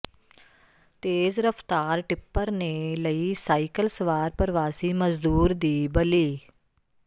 ਤੇਜ਼ ਰਫ਼ਤਾਰ ਟਿੱਪਰ ਨੇ ਲਈ ਸਾਈਕਲ ਸਵਾਰ ਪ੍ਰਵਾਸੀ ਮਜ਼ਦੂਰ ਦੀ ਬਲੀ